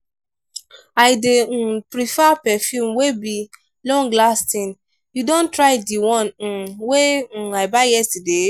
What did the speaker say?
i dey um prefer perfume wey be long-lasting. you don try di one um wey um i buy yesterday?